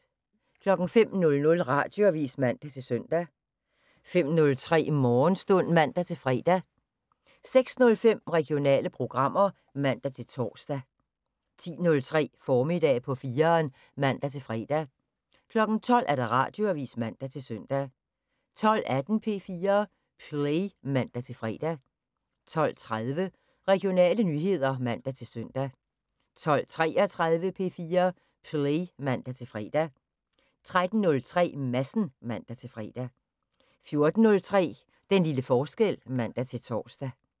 05:00: Radioavis (man-søn) 05:03: Morgenstund (man-fre) 06:05: Regionale programmer (man-tor) 10:03: Formiddag på 4'eren (man-fre) 12:00: Radioavis (man-søn) 12:18: P4 Play (man-fre) 12:30: Regionale nyheder (man-søn) 12:33: P4 Play (man-fre) 13:03: Madsen (man-fre) 14:03: Den lille forskel (man-tor)